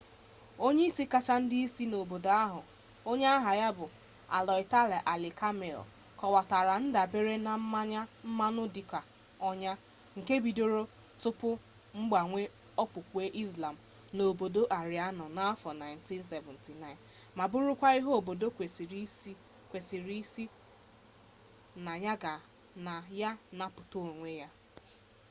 onye isi kacha ndị isi obodo nke obodo ahụ onye aha ya bụ ayatollah ali khamenei kọwatara ndabere na mmanụ dị ka ọnya nke bidoro tupu mgbanwe okpukpe islam n'obodo aịraanụ n'afọ 1979 ma bụrụkwa ihe obodo kwesịrị isi na ya napụta onwe ya